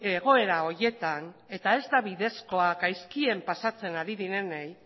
egoera horietan eta ez da bidezkoa gaizkien pasatzen ari direnei